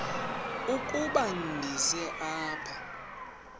ukuba ndize apha